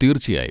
തീർച്ചയായും.